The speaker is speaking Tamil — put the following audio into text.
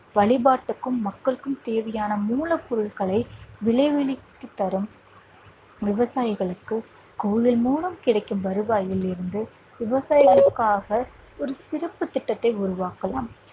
வழிபாட்டிற்கும் மக்களுக்கும் தேவைப்படும் மூலப் பொருட்களை விளைவித்து தரும் விவசாயிகளுக்கு கோயில் மூலம் கிடைக்கும் வருவாயில் இருந்து விவசாயத்திற்காக ஒரு சிறப்பு திட்டத்தை உருவாக்கலாம்